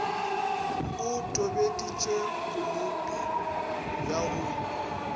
o tobeditše konope ya go